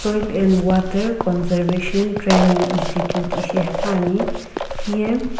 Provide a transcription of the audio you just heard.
soil and water conservation training Institute ishi hepuani hiye.